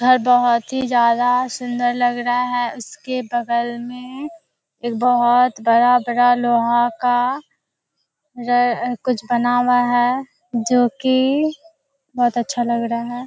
घर बहुत ही ज्यादा सुंदर लग रहा है इसके बगल में एक बहुत बड़ा लोहा का रे कुछ बना हुआ है जो की बहुत अच्छा लग रहा है।